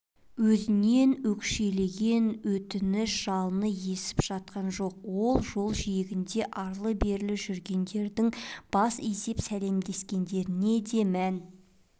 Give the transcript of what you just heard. ізінен өкшелеген өтініш-жалынышын естіп жатқан жоқ жол жиегінде арлы-берлі жүргендердің бас изеп сәлемдескендеріне де мән